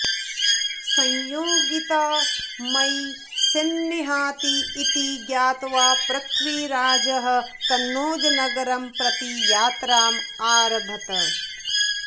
संयोगिता मयि स्निह्यति इति ज्ञात्वा पृथ्वीराजः कन्नौजनगरं प्रति यात्राम् आरभत